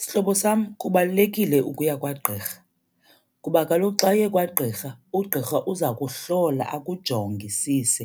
Sihlobo sam kubalulekile ukuya kwagqirha, kuba kaloku xa uye kwagqirha ugqirha uza kuhlola akujongisise,